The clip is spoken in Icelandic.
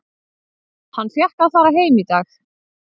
Hann fékk að fara heim í dag.